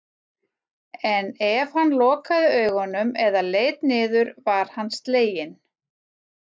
En ef hann lokaði augunum eða leit niður var hann sleginn.